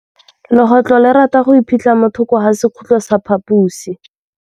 Legôtlô le rata go iphitlha mo thokô ga sekhutlo sa phaposi.